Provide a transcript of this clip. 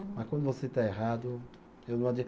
Mas quando você está errado, eu não